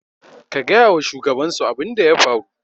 ku gaya wa shugabansu abin da ya faru?